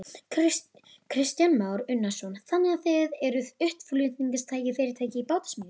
Kristján Már Unnarsson: Þannig að þið eruð útflutningsfyrirtæki í bátasmíði?